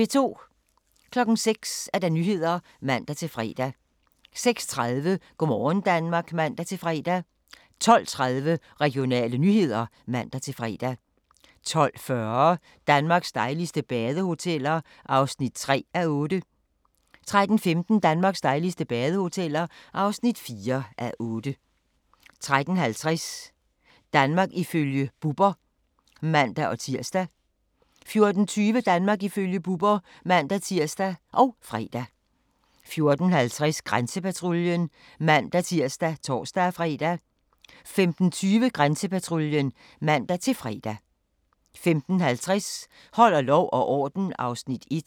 06:00: Nyhederne (man-fre) 06:30: Go' morgen Danmark (man-fre) 12:30: Regionale nyheder (man-fre) 12:40: Danmarks dejligste badehoteller (3:8) 13:15: Danmarks dejligste badehoteller (4:8) 13:50: Danmark ifølge Bubber (man-tir) 14:20: Danmark ifølge Bubber (man-tir og fre) 14:50: Grænsepatruljen (man-tir og tor-fre) 15:20: Grænsepatruljen (man-fre) 15:50: Holder lov og orden (Afs. 1)